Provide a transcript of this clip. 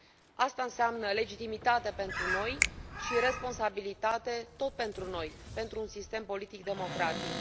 Aceasta înseamnă legitimitate pentru noi și responsabilitate tot pentru noi, pentru un sistem politic democratic.